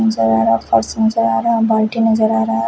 फर्स नजर आ रहा है बाल्टी नजर आ रहा है।